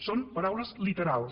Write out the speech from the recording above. són paraules literals